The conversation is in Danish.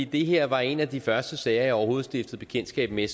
det her var en af de første sager jeg overhovedet stiftede bekendtskab med